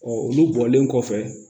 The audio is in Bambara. olu bɔlen kɔfɛ